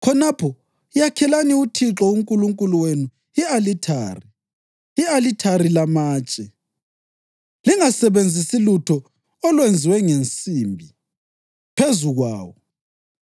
Khonapho yakhelani uThixo uNkulunkulu wenu i-alithari, i-alithari lamatshe. Lingasebenzisi lutho olwenziwe ngensimbi phezu kwawo.